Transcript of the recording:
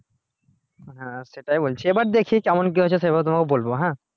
হ্যাঁ সেটাই বলছি এবার দেখি কেমন কি হচ্ছে সেইভাবে তোমাকে বলবো হ্যাঁ